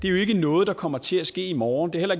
er noget der kommer til at ske i morgen det er